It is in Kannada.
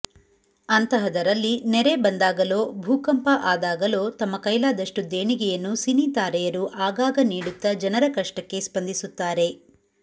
ಅಂತಹದರಲ್ಲಿ ನೆರೆ ಬಂದಾಗಲೋ ಭೂಕಂಪ ಆದಾಗಲೋ ತಮ್ಮ ಕೈಲಾದಷ್ಟು ದೇಣಿಗೆಯನ್ನು ಸಿನಿ ತಾರೆಯರು ಆಗಾಗ ನೀಡುತ್ತಾ ಜನರ ಕಷ್ಟಕ್ಕೆ ಸ್ಪಂದಿಸುತ್ತಾರೆ